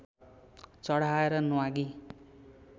चढाएर न्वागी